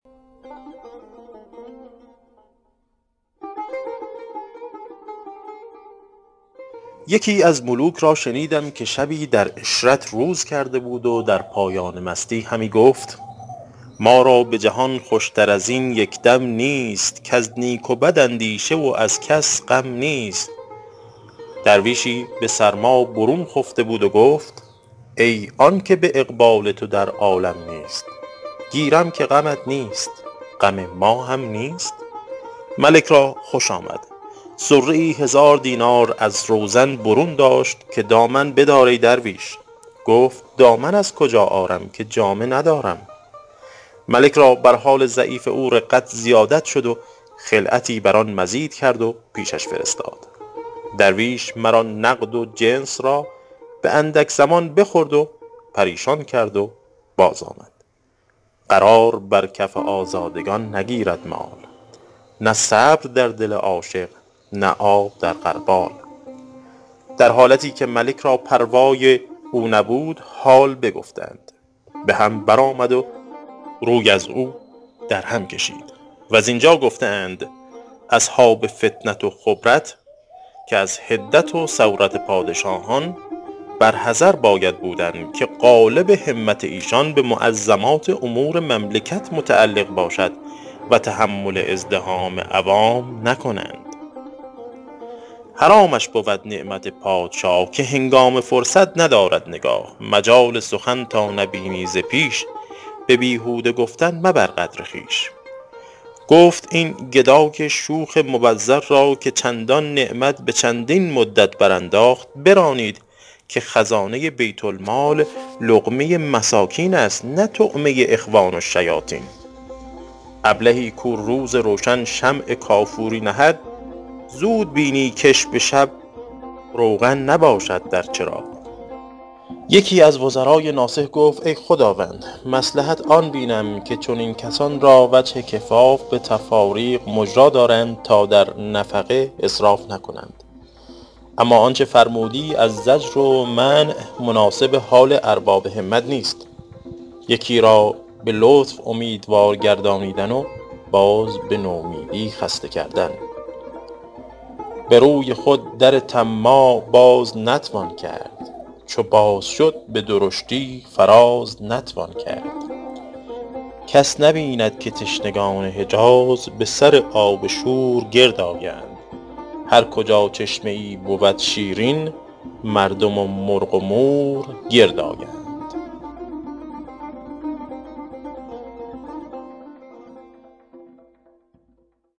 یکی از ملوک را شنیدم که شبی در عشرت روز کرده بود و در پایان مستی همی گفت ما را به جهان خوش تر از این یک دم نیست کز نیک و بد اندیشه و از کس غم نیست درویشی به سرما برون خفته بود و گفت ای آن که به اقبال تو در عالم نیست گیرم که غمت نیست غم ما هم نیست ملک را خوش آمد صره ای هزار دینار از روزن برون داشت که دامن بدار ای درویش گفت دامن از کجا آرم که جامه ندارم ملک را بر حال ضعیف او رقت زیادت شد و خلعتی بر آن مزید کرد و پیشش فرستاد درویش مر آن نقد و جنس را به اندک زمان بخورد و پریشان کرد و باز آمد قرار بر کف آزادگان نگیرد مال نه صبر در دل عاشق نه آب در غربال در حالتی که ملک را پروای او نبود حال بگفتند به هم بر آمد و روی ازو در هم کشید و زین جا گفته اند اصحاب فطنت و خبرت که از حدت و سورت پادشاهان بر حذر باید بودن که غالب همت ایشان به معظمات امور مملکت متعلق باشد و تحمل ازدحام عوام نکند حرامش بود نعمت پادشاه که هنگام فرصت ندارد نگاه مجال سخن تا نبینی ز پیش به بیهوده گفتن مبر قدر خویش گفت این گدای شوخ مبذر را که چندان نعمت به چندین مدت برانداخت برانید که خزانه بیت المال لقمه مساکین است نه طعمه اخوان الشیاطین ابلهی کو روز روشن شمع کافوری نهد زود بینی کش به شب روغن نباشد در چراغ یکی از وزرای ناصح گفت ای خداوند مصلحت آن بینم که چنین کسان را وجه کفاف به تفاریق مجرا دارند تا در نفقه اسراف نکنند اما آنچه فرمودی از زجر و منع مناسب حال ارباب همت نیست یکی را به لطف اومیدوار گردانیدن و باز به نومیدی خسته کردن به روی خود در طماع باز نتوان کرد چو باز شد به درشتی فراز نتوان کرد کس نبیند که تشنگان حجاز به سر آب شور گرد آیند هر کجا چشمه ای بود شیرین مردم و مرغ و مور گرد آیند